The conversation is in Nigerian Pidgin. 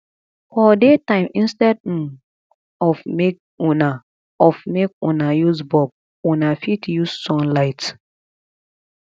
for day time instead um of make una of make una use bulb una fit use sun light